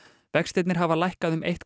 vextirnir hafa lækkað um eitt